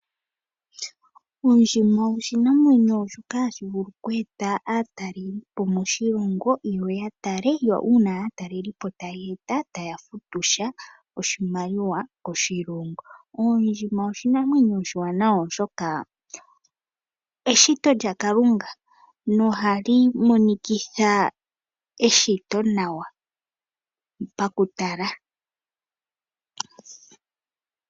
Ondjima oshinamwenyo shoka hashi vulu oku eta aatalelipo moshilongo yo ya tale, yo uuna aatalelipo taye ya taya futu oshimaliwa koshilongo. Oondjima oshinamwenyo oshiwanawa, oshoka eshito lyaKalunga noha li monikitha eshito nawa pakutala.